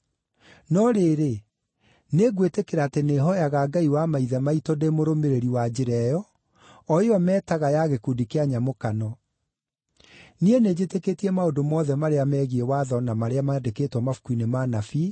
No rĩrĩ, nĩngwĩtĩkĩra atĩ nĩhooyaga Ngai wa maithe maitũ ndĩ mũrũmĩrĩri wa Njĩra ĩyo, o ĩyo metaga ya gĩkundi kĩa nyamũkano. Niĩ nĩnjĩtĩkĩtie maũndũ mothe marĩa megiĩ Watho na marĩa mandĩkĩtwo mabuku-inĩ ma Anabii,